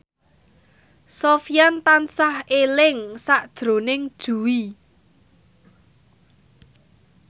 Sofyan tansah eling sakjroning Jui